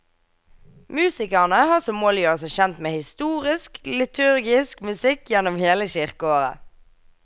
Musikerne har som mål å gjøre seg kjent med historisk liturgisk musikk gjennom hele kirkeåret.